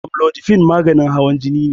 Amlodipine maganin hawan jini ne.